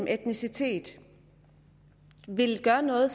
af etnicitet vil gøre noget